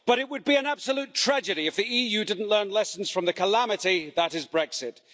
But it would be an absolute tragedy if the EU didn't learn lessons from the calamity that is Brexit.